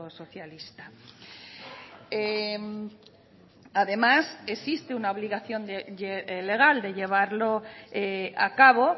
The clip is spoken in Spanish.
socialista además existe una obligación legal de llevarlo a cabo